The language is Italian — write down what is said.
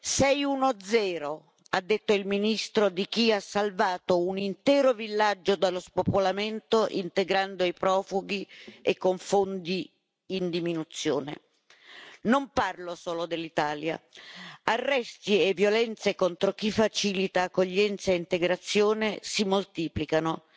Sei uno zero ha detto il ministro di chi ha salvato un intero villaggio dallo spopolamento, integrando i profughi e con fondi in diminuzione. Non parlo solo dell'Italia, arresti e violenze contro chi facilita accoglienza e integrazione si moltiplicano.